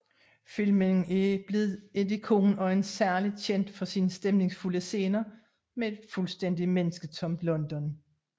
Filmen er blevet et ikon og er særligt kendt for sine stemningsfulde scener med et fuldstændigt mennesketomt London